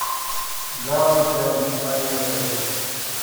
гала дент поехали